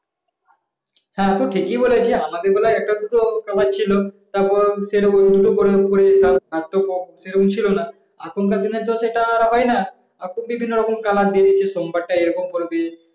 হ্যাঁ তো ঠিকই বলেছিস আমাদের বেলায় একটা দুটো ব্যাপার ছিল। তারপর সেরকম আর তো সেরকম ছিল না। এখনকার দিনে তো সেটা হয় না। এখন বিভিন্ন ধরনের color বেরিয়েছে সোমবারটা এরকম পড়বি